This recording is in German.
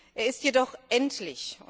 Er ist jedoch endlich.